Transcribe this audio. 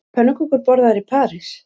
Eru pönnukökur borðaðar í París